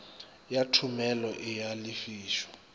ya thomelo e a lefišwa